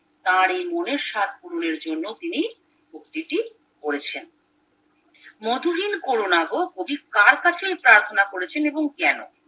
তার এই মনে সাধ পূরণের জন্যে তিনি উক্তিটি করেছেন মধুহীন কোরোনাগো কবি কার কাছে এই প্রার্থনা করেছেন এবং কেন